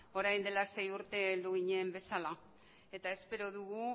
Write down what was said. orain dela sei urte heldu ginen bezala eta espero dugu